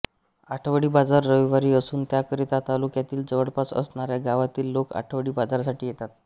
आठवडी बाजार रविवारी असून त्याकरीता तालुक्यातील जवळपास असणाऱ्या गावातील लोक आठवडी बाजारसाठी येतात